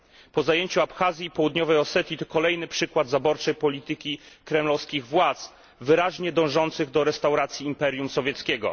Po zajęciu Abchazji i Południowej Osetii to kolejny przykład zaborczej polityki kremlowskich władz, wyraźnie dążących do restauracji imperium sowieckiego.